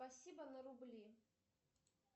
спасибо на рубли